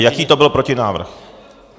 A jaký to byl protinávrh?